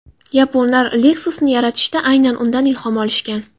Yaponlar Lexus’ni yaratishda aynan undan ilhom olishgan.